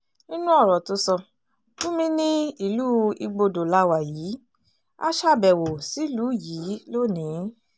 nínú ọ̀rọ̀ tó sọ gumi ní ìlú igbodò la wà yìí á ṣàbẹ̀wò sílùú yìí lónìí